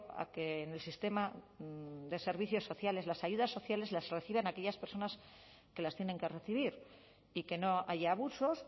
a que en el sistema de servicios sociales las ayudas sociales las reciban aquellas personas que las tienen que recibir y que no haya abusos